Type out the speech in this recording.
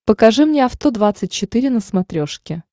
покажи мне авто двадцать четыре на смотрешке